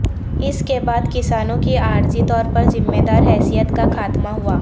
اس کے بعد کسانوں کی عارضی طور پر ذمہ دار حیثیت کا خاتمہ ہوا